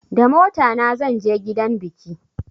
Da motana zan je gidan biki